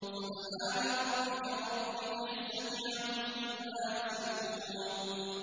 سُبْحَانَ رَبِّكَ رَبِّ الْعِزَّةِ عَمَّا يَصِفُونَ